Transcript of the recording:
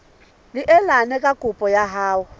neelane ka kopo ya hao